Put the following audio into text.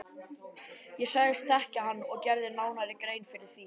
Ég sagðist þekkja hann og gerði nánari grein fyrir því.